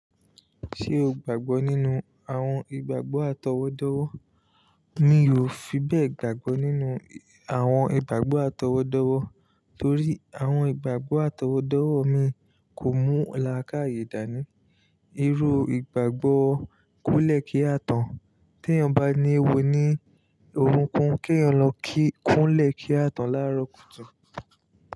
Ṣé o gbàgbọ́ nínú àwọn ìgbàgbọ́ àtọwọ́dọ́wọ́? Mi ò fi bẹ́ẹ̀ gbàgbọ́ nínú àwọn ìgbàgbọ́ àtọwọ́dọ́wọ́ torí àwọn ìgbàgbọ́ àtọwọ́dọ́wọ́ mi kò mú làákàyè dání. Irú ìgbàgbọ́ kúnlẹ̀ kí a tán. Tí eeyan bá ní ewo ni orúnkún, kí eeyan lọ kúnlẹ̀ kí a tán lára kùtùkùtù.